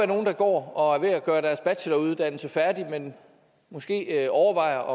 nogle der går og er ved at gøre deres bacheloruddannelse færdig men måske overvejer